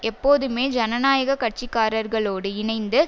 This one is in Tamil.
எப்போதுமே ஜனநாயக கட்சிக்கார்களோடு இணைந்து